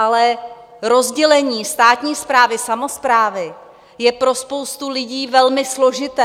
Ale rozdělení státní správy, samosprávy je pro spoustu lidí velmi složité.